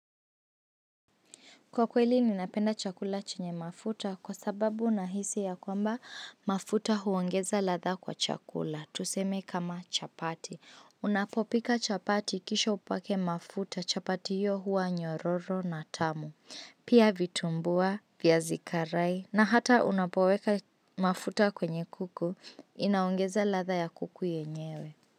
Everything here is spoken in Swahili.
Kwa kweli ninapenda chakula chenye mafuta kwa sababu nahisi ya kwamba mafuta huongeza latha kwa chakula. Tuseme kama chapati. Unapopika chapati kisha upake mafuta chapati hiyo huwa nyororo na tamu. Pia vitumbua, vyazi karai na hata unapoweka mafuta kwenye kuku inaongeza latha ya kuku yenyewe.